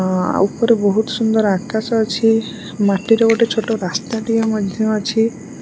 ଅ ଉପରେ ବହୁତ ସୁନ୍ଦର ଆକାଶ ଅଛି ମାଟି ର ଗୋଟେ ଛୋଟ ରାସ୍ତା ଟିଏ ମଧ୍ୟ ଅଛି।